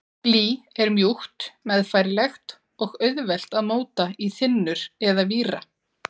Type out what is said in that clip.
Blý er mjúkt, meðfærilegt og auðvelt að móta í þynnur eða víra.